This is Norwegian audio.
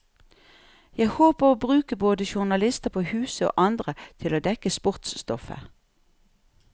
Jeg håper å bruke både journalister på huset, og andre til å dekke sportsstoffet.